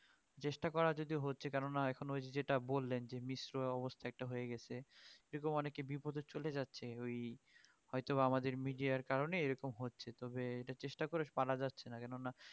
চেষ্টা করা যদিও হচ্ছে কেননা এখন ওই যে যেটা বললেন যে অবস্থা একটা হয়ে গেছে এরকম অনেকে বিপথে চলে যাচ্ছে ওই হয়ত বা আমাদের মিডিয়ার কারনে এরকম হচ্ছে তবে এটা চেষ্টা করে পারা যাচ্ছেনা কেননা